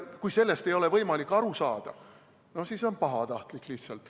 Kui sellest ei ole võimalik aru saada, siis see on lihtsalt pahatahtlik.